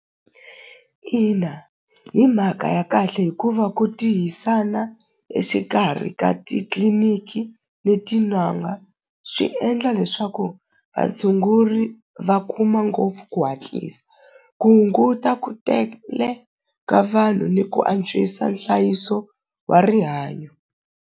Ina hi mhaka ya kahle hikuva ku exikarhi ka titliliniki leti n'anga swi endla leswaku vatshunguri va kuma ngopfu ku hatlisa ku hunguta ku tele ka vanhu ni ku antswisa nhlayiso wa rihanyo.